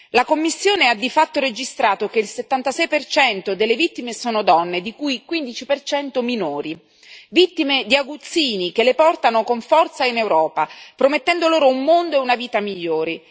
La Commissione ha di fatto registrato che il 76 delle vittime sono donne, di cui 15 minori, vittime di aguzzini che le portano con forza in Europa, promettendo loro un mondo e una vita migliori.